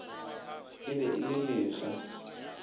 e be e le lekga